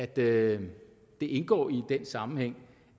det det indgår i den sammenhæng